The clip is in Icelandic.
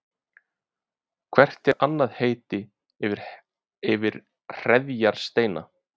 Hvert er annað heiti yfir hreðjarsteina?